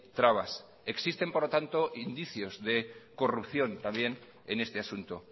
trabas existen por lo tanto indicios de corrupción también en este asunto